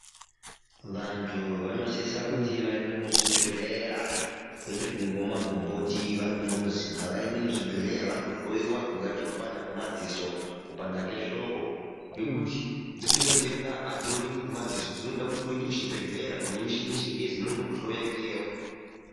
Vantu vanosisa kuti vaende muzvibhehlera kwete kungomwa magomboti vari kumuzi ngavaende muzvibhehleya vandohlowiwa kungaite kupanda kwemadziso, kupanda kwehloko ngekuti dzimweni nhenda adzioneki ngemadziso dzinoda kuti uende kuchibhehlera kune mishini yechingezi inondokuhloya ikweyo.